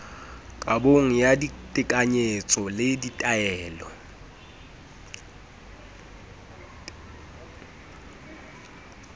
kabong ya ditekanyetso le ditaelong